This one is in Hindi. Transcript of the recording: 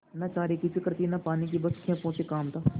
न चारे की फिक्र थी न पानी की बस खेपों से काम था